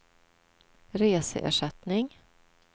reseersättning